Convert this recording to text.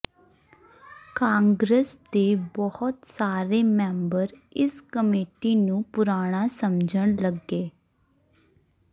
ਕਾਂਗਰਸ ਦੇ ਬਹੁਤ ਸਾਰੇ ਮੈਂਬਰ ਇਸ ਕਮੇਟੀ ਨੂੰ ਪੁਰਾਣਾ ਸਮਝਣ ਲੱਗੇ